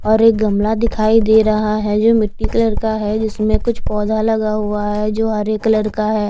और एक गमला दिखाई दे रहा है जो मिट्टी कलर का है जिसमें कुछ पौधा लगा हुआ है जो हरे कलर का है।